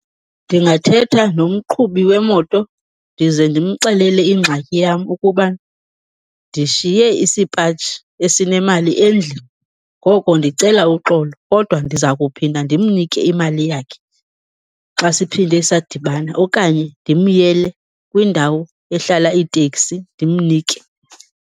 Ndingathetha nomqhubi wemoto ndize ndimxelele ingxaki yam ukuba ndishiye isipaji esinemali endlini, ngoko ndicela uxolo kodwa ndiza kuphinda ndimnike imali yakhe xa siphinde sadibana okanye ndimyele kwindawo ehlala iiteksi ndimnike.